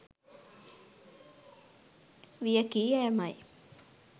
වියැකි යෑම යි.